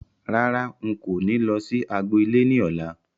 Rárá, n kò ní lọ sí agbo ilé ní ọ̀la